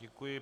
Děkuji.